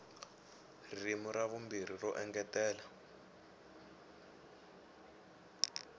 ririmi ra vumbirhi ro engetela